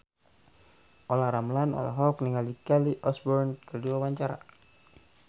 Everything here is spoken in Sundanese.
Olla Ramlan olohok ningali Kelly Osbourne keur diwawancara